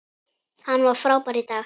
Hann var frábær í dag.